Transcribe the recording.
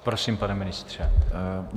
Prosím, pane ministře.